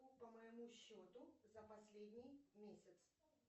по моему счету за последний месяц